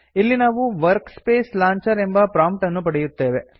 ಇಲ್ಲಿ ನಾವು workspace launcher ಎಂಬ ಪ್ರೊಮ್ಪ್ಟ್ ಅನ್ನು ಪಡೆಯುತ್ತೇವೆ